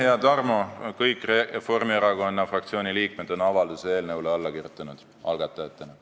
Hea Tarmo, kõik Reformierakonna fraktsiooni liikmed on avalduse eelnõule algatajatena alla kirjutanud.